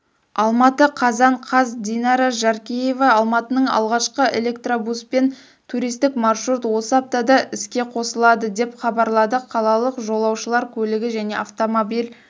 алматы қазан қаз динара жаркеева алматының алғашқы электробуспен туристік маршрут осы аптада іске қосылады деп хабарлады қалалық жолаушылар көлігі және автомобиль